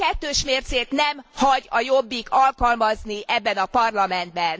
Ilyen kettős mércét nem hagy a Jobbik alkalmazni ebben a Parlamentben.